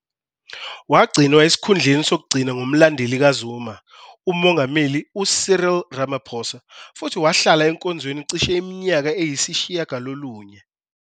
Wagcinwa esikhundleni sokugcina ngumlandeli kaZuma, uMongameli UCyril Ramaphosa, futhi wahlala enkonzweni cishe iminyaka eyisishiyagalolunye.